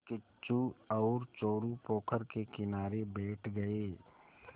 किच्चू और चोरु पोखर के किनारे बैठ गए